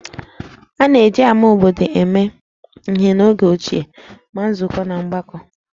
A na-eji ámá obodo eme ihe n'oge ochie maka nzukọ na mgbakọ